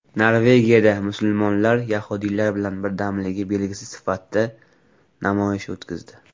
Norvegiyada musulmonlar yahudiylar bilan birdamligi belgisi sifatida namoyish o‘tkazdi.